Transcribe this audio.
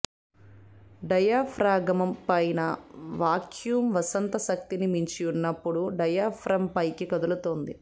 diaphragm పైన vacuum వసంత శక్తిని మించి ఉన్నప్పుడు డయాఫ్రమ్ పైకి కదులుతుంది